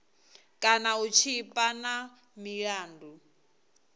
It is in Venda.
kana u tshipa na milandu